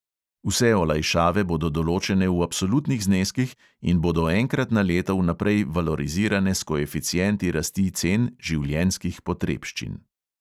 Vse olajšave bodo določene v absolutnih zneskih in bodo enkrat na leto vnaprej valorizirane s koeficienti rasti cen življenjskih potrebščin.